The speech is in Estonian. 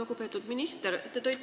Lugupeetud minister!